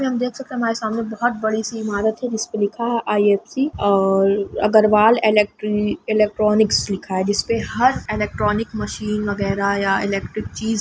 और हम देख सकते है हमारे सामने बहत बडी सी ईमारत है जिसपे लिखा है आई.एफ.सि और अगर्वल एलेक्टरी इलेक्ट्रानिक्स लिखा है जिस पे हार इलेक्ट्रॉनिक मशीन वागेर या एलक्टरिक चीज़--